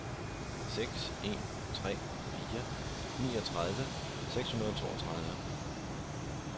seks en tre fire niogtredive seks hundrede og toogtredive